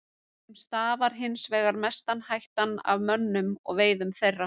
Þeim stafar hins vegar mesta hættan af mönnum og veiðum þeirra.